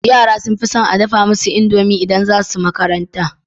Yara sun fison a dafa musu indomi idan zasu makaranta